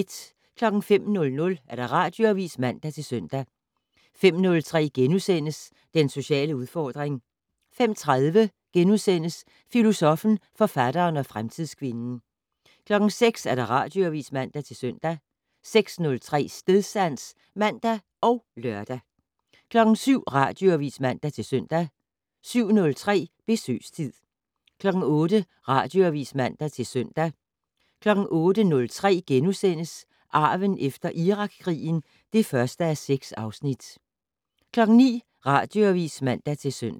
05:00: Radioavis (man-søn) 05:03: Den sociale udfordring * 05:30: Filosoffen, forfatteren og fremtidskvinden (2:3)* 06:00: Radioavis (man-søn) 06:03: Stedsans (man og lør) 07:00: Radioavis (man-søn) 07:03: Besøgstid 08:00: Radioavis (man-søn) 08:03: Arven efter Irakkrigen (1:6)* 09:00: Radioavis (man-søn)